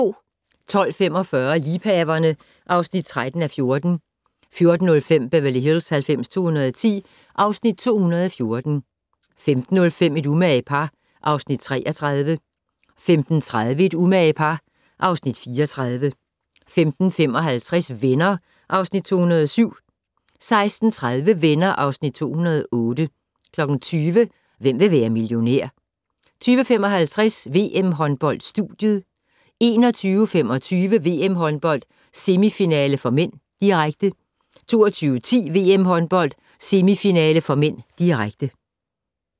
12:45: Liebhaverne (13:14) 14:05: Beverly Hills 90210 (Afs. 214) 15:05: Et umage par (Afs. 33) 15:30: Et umage par (Afs. 34) 15:55: Venner (Afs. 207) 16:30: Venner (Afs. 208) 20:00: Hvem vil være millionær? 20:55: VM-håndbold: Studiet 21:25: VM-håndbold: Semifinale (m), direkte 22:10: VM-håndbold: Semifinale (m), direkte